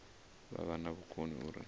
vha vha na vhukoni uri